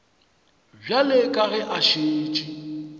bjale ka ge a šetše